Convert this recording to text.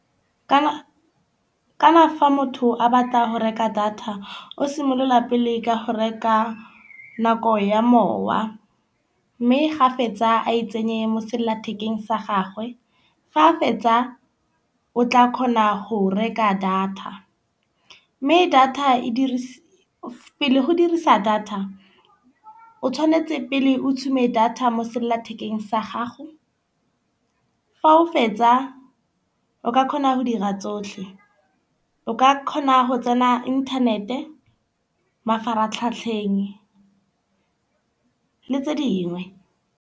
Kana fa motho a batlang go reka data, o simolola pele ka ho reka nako ya mowa. Mme gape tsa a e tsenye mo sellathekeng sa gagwe. Ga fetsa o tla kgona go reka data. Mme data e pele go dirisa data o tshwanetse pele o tšhume data mo sellathekeng sa gago. Fa o fetsa o ka khona go dira tsohle. O ka khona go tsena inthanete, mafaratlhatlheng le tse dingwe.